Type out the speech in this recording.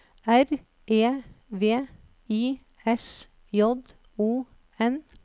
R E V I S J O N